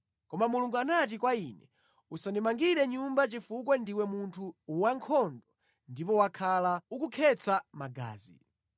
Koma Mulungu anati kwa ine, “Usandimangire nyumba chifukwa ndiwe munthu wankhondo ndipo wakhala ukukhetsa magazi.”